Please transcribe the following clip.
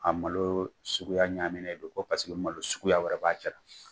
A malo suguya ɲaaminen don, ko paseke ko malo suguya wɛrɛ b'a cɛ la.